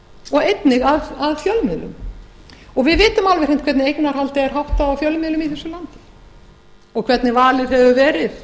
og einnig að fjölmiðlum við vitum alveg hreint hvernig eignarhaldi er háttað á fjölmiðlum í þessu landi og hvernig valið hefur verið